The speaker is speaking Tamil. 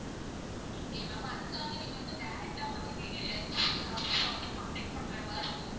அப்டியா ma'am அதுக்காக நீங்க வந்து direct ஆ வந்து நீங்க electricity office ல வந்து contact பண்றமாறி இருக்கும்.